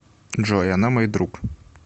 джой она мой друг